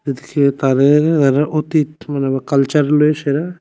এদিকে তাদের তাদের অতীত মানে কালচারগুলোই সেরা।